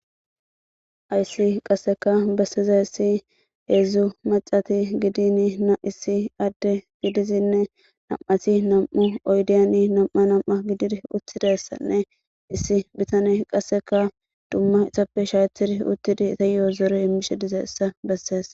Hayssi qasseka besseza issi heedzdzu macati gidin na issi adde gidizinne nam7asi nam7u oydiyani nam7a nam7a gidir uttidessanne issi bitane qasseka dumma isappe shaatir uttidi itayo zore immishe dize essa besseess